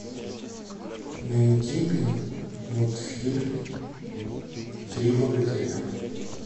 найди мне мультфильм три богатыря